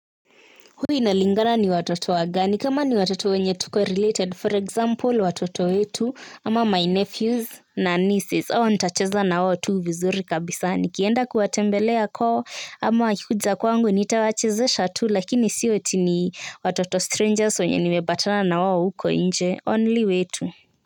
Huwa inalingana ni watoto wagani kama ni watoto wenye tuko related for example watoto wetu ama my nephews na nieces hao nitacheza na wao tu vizuri kabisa nikienda kuwatembelea koo ama wakikuja kwangu nitawachezesha tu lakini sio eti ni watoto strangers wenye nimepatana na wao huko inje only wetu.